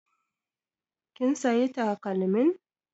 Kin siya takalmin?